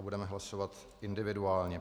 A budeme hlasovat individuálně.